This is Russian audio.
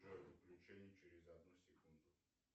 джой включение через одну секунду